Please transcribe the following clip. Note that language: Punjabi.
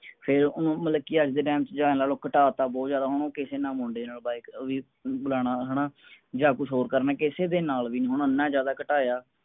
ਫੇਰ ਉਹ ਅੱਜ ਦੇ time ਨਾਲੋਂ ਘਟਾਤਾ ਬਹੁਤ ਜ਼ਿਆਦਾ ਓਹਨੂੰ ਕਿਸੇ ਨਾਲ ਮੁੰਡੇ ਹਣਾ ਜਾ ਕੁਜ ਹੋਰ ਕਰਨਾ ਕਿਸੇ ਦੇ ਨਾਲ ਵੀ ਨੀ ਹੋਣਾ ਨਾ ਜ਼ਿਆਦਾ ਘਟਾਇਆ